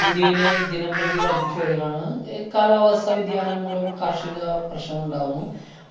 ഇന്ത്യയില് ദിനംപ്രതി വര്‍ദ്ധിച്ചു വരികയാണ്‌. ഏർ കാലാവസ്ഥ വ്യതിയാനം മൂലം കാര്‍ഷിക പ്രശ്നങ്ങള്‍ ഉണ്ടാകുന്നു.